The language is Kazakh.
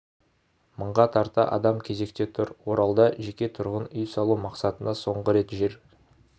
мыңға тарта адам кезекте тұр оралда жеке тұрғын үй салу мақсатына соңғы рет жер